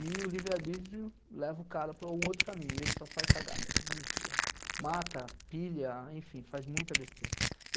e o livre-arbítrio leva o cara para um outro caminho, ele só faz cagada, desvia, mata, pilha, enfim, faz muita besteira.